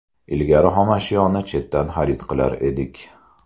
Ilgari xomashyoni chetdan xarid qilar edik.